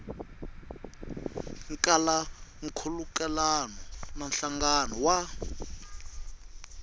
kala nkhulukelano na nhlangano wa